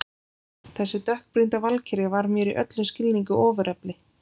Þessi dökkbrýnda valkyrja var mér í öllum skilningi ofurefli.